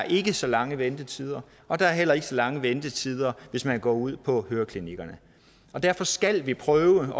ikke så lange ventetider og der er heller ikke så lange ventetider hvis man går ud på høreklinikkerne derfor skal vi prøve